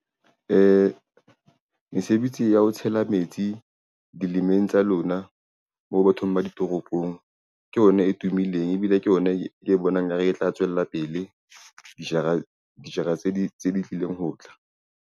Mesebetsi ya ho tshela metsi dilemeng tsa lona moo bathong ba ditoropong, ke yona e tumileng ebile ke yona e bonang nka re e tla tswella pele dijara tse di tlileng ho tla.